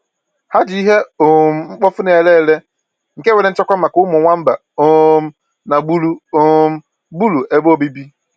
Ha ji ihe um mkpofu na-ere ere nke nwéré nchekwa maka ụmụ nwamba um na gbùrù um gbúrù ebe obibi